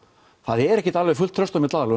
það er ekki alveg fullt traust á milli aðila